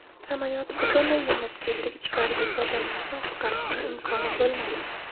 Samolyot butunlay yonib ketdi, ichkaridagi odamlarni qutqarishning imkoni bo‘lmadi.